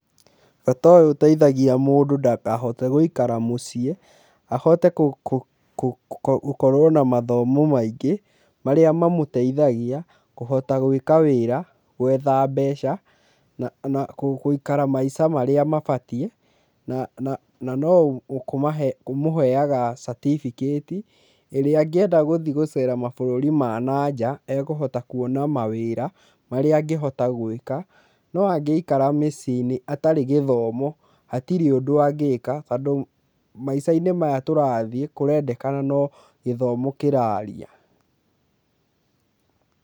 Bata ũyũ ũteithegia mũndũ ndakahote gwĩikara mũciĩ, ahote gũkorwo na mathomo, maingĩ marĩa mamoteithagia kóhota gwĩka wĩra, gwitha mbeca, na gũikara maica marĩa mabatie, na no ũmoheaga certificate ĩrĩa agenda gũcera maburũri ma nanja, ĩkohota kuona mawera, marĩa agĩhota gwĩka, no agĩikara mĩcii=inĩ, atarĩ gĩthomo, atirĩ ũndo angiĩka tondũ maica=inĩ maya tũrathiĩ kũrendekana no githomo kĩraria.